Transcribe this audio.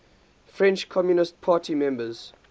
french communist party members